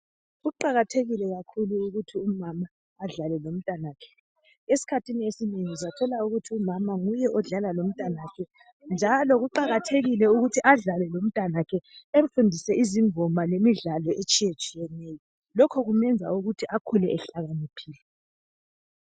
Kuqakathekile kakhulu umama adlale lomntanakhe. Esikhathini esinengi uzathola ukuthi umama nguye odlala lomntanakhe njalo kuqakathekile ukuthi adlale lomntanakhe emfundise izingoma lemidlalo etshiyetshiyeneyo lokho kumenza ukuthi akhule ehlakaniphile.